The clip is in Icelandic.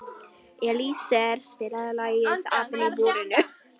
Elíeser, spilaðu lagið „Apinn í búrinu“.